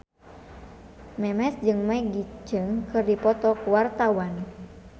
Memes jeung Maggie Cheung keur dipoto ku wartawan